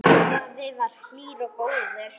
Afi var hlýr og góður.